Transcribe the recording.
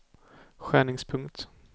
skärningspunkt